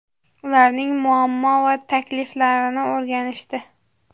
ularning muammo va takliflarini o‘rganishdi.